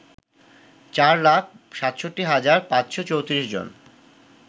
৪ লাখ ৬৭ হাজার ৫৩৪ জন